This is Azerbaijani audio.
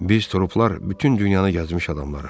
Biz troplar bütün dünyanı gəzmiş adamlarıq.